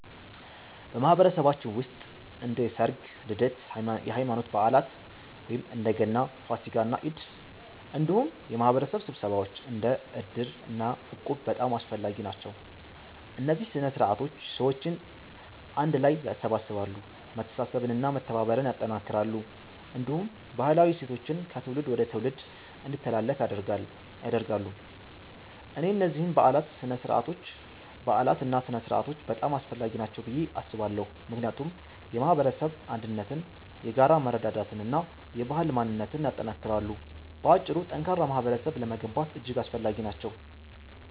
በማህበረሰባችን ውስጥ እንደ ሠርግ፣ ልደት፣ የሃይማኖት በዓላት (እንደ ገና፣ ፋሲካ እና ኢድ)፣ እንዲሁም የማህበረሰብ ስብሰባዎች እንደ እድር እና እቁብ በጣም አስፈላጊ ናቸው። እነዚህ ሥነ ሥርዓቶች ሰዎችን አንድ ላይ ያሰባስባሉ፣ መተሳሰብን እና መተባበርን ያጠናክራሉ፣ እንዲሁም ባህላዊ እሴቶችን ከትውልድ ወደ ትውልድ እንዲተላለፉ ያደርጋሉ። እኔ እነዚህን በዓላትና ሥነ ሥርዓቶች በጣም አስፈላጊ ናቸው ብዬ አስባለሁ፣ ምክንያቱም የማህበረሰብ አንድነትን፣ የጋራ መረዳዳትን እና የባህል ማንነትን ያጠናክራሉ። በአጭሩ፣ ጠንካራ ማህበረሰብ ለመገንባት እጅግ አስፈላጊ ናቸው።